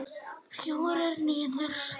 Fjórir niður.